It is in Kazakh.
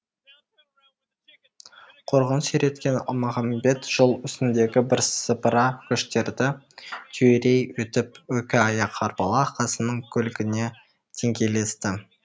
құрығын сүйреткен алмағамбет жол үстіндегі бірсыпыра көштерді түйрей өтіп екі аяқ арбалы қасымның көлігіне деңгейлесті